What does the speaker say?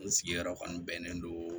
N sigiyɔrɔ kɔni bɛnnen don